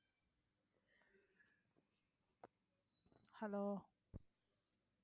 hello